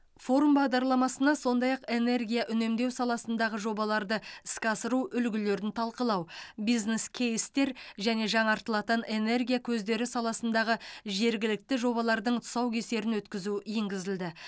форум бағдарламасына сондай ақ энергия үнемдеу саласындағы жобаларды іске асыру үлгілерін талқылау бизнес кейстер және жаңартылатын энергия көздері саласындағы жергілікті жобалардың тұсаукесерін өткізу енгізілді